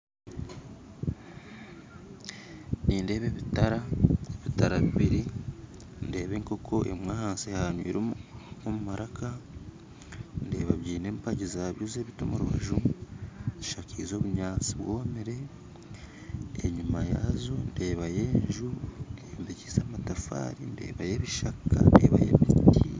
Nindeeba ebitara ebitara bibiri ndeba enkooko eri ahansi omu maraka ndeeba bine empagi zabyo z'ebiti omu rubaju bishakize obunyatsi bwomire enyuma yaazo ndebayo enju eyombikise amatafari ndebayo ebishaka ndebayo ebiti